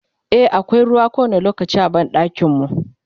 e akwai ruwa kowani lokaci a banɗakin mu